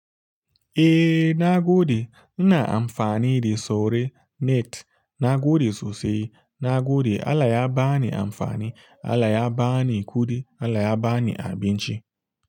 Eh, na gode. Ina amfani da Sure Net. Na gode sosai. Na gode. Allah ya ba ni amfani, Allah ya ba ni kuɗi, Allah ya ba ni abinci.